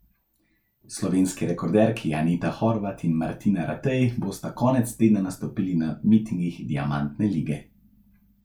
Slovenski rekorderki Anita Horvat in Martina Ratej bosta konec tedna nastopili na mitingih diamantne lige.